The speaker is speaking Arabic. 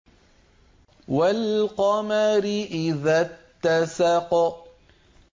وَالْقَمَرِ إِذَا اتَّسَقَ